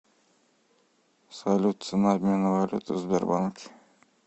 салют цена обмена валюты в сбербанке